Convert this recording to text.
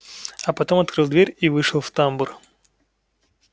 а потом открыл дверь и вышел в тамбур